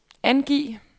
angiv